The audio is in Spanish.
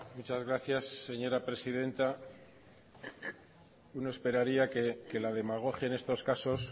muchas gracias señora presidenta uno esperaría que la demagogia en estos casos